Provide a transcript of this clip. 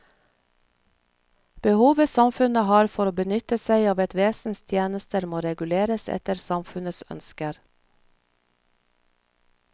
Behovet samfunnet har for å benytte seg av et vesens tjenester må reguleres etter samfunnets ønsker.